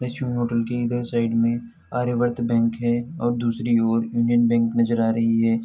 Lakshmi hotel के इधर side में आर्यावर्त बैंक है और दूसरी ओर यूनियन बैंक नजर आ रही है।